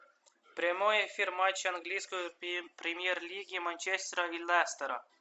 прямой эфир матча английской премьер лиги манчестера и лестера